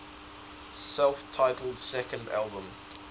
self titled second album